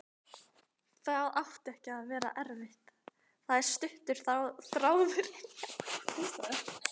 Það ætti ekki að vera erfitt, það er stuttur þráðurinn hjá honum.